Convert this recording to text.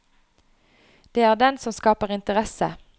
Det er den som skaper interesse.